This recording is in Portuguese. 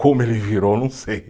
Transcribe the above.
Como ele virou, não sei.